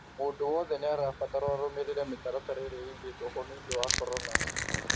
Mũndũ wothe nĩarabatarwo arũmĩrĩre mĩtaratara ĩrĩa ĩigĩtwo ho nĩũndũ wa korona